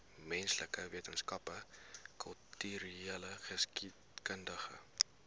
menslike wetenskappe kultureelgeskiedkundige